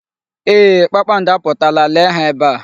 Eeh, kpakpando apụtala. Lee ha ebe a.